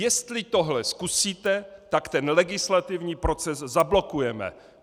Jestli tohle zkusíte, tak ten legislativní proces zablokujeme.